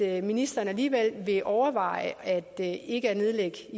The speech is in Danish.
at ministeren alligevel vil overveje ikke at nedlægge